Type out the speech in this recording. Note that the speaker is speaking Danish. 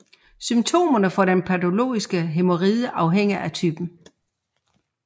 Symptomerne for den patologiske hæmoride afhænger af typen